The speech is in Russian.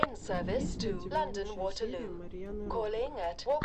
есть ли у тебя лучшая серия марьяны ро